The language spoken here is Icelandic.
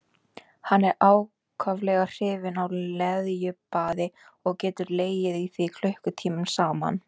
Hann er ákaflega hrifinn af leðjubaði og getur legið í því klukkutímum saman.